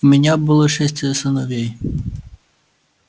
у меня было шестеро сыновей